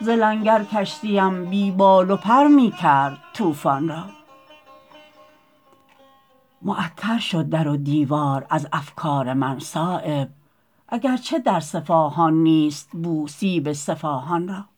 ز لنگر کشتیم بی بال و پر می کرد طوفان را معطر شد در و دیوار از افکار من صایب اگر چه در صفاهان نیست بو سیب صفاهان را